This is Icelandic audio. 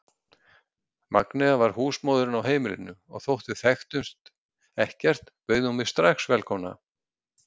Magnea var húsmóðirin á heimilinu og þótt við þekktumst ekkert bauð hún mig strax velkomna.